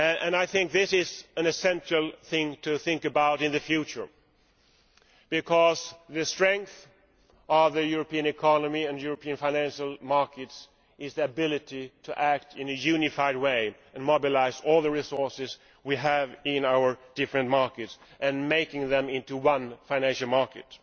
I think this is an essential thing to think about in the future, because the strength of the European economy and European financial markets is their ability to act in a unified way and mobilise all the resources we have in our different markets, making them into one financial market.